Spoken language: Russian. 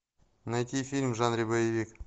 найти фильм в жанре боевик